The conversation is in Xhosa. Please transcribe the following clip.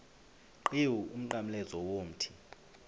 qhiwu umnqamlezo womthi